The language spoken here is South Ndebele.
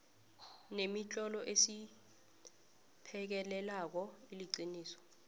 nemitlolo esiphekelelako iliqiniso